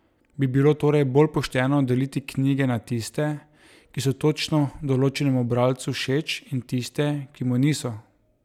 Bi bilo torej bolj pošteno deliti knjige na tiste, ki so točno določenemu bralcu všeč in tiste, ki mu niso?